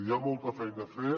hi ha molta feina a fer